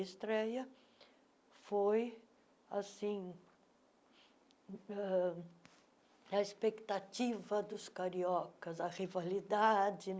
A estreia foi assim ãh a expectativa dos cariocas, a rivalidade.